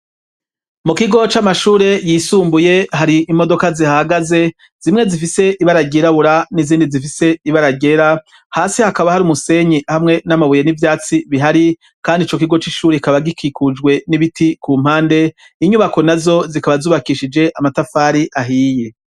Mu kigo c'amashure yisumbuye hari imodoka zihagaze zimwe zifise ibaragerabura n'izindi zifise ibara ryera hasi hakaba hari umusenyi hamwe n'amabuye n'ivyatsi bihari kandi ico kigo c'ishuri ikaba gikikujwe n'ibiti ku mpande inyubako na zo zikaba zubakishije amatafari ahiye.